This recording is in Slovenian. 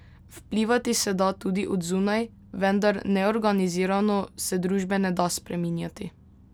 Vplivati se da tudi od zunaj, vendar neorganizirano se družbe ne da spreminjati.